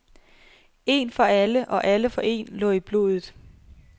En for alle og alle for en lå i blodet.